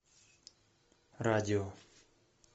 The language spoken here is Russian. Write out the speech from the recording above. радио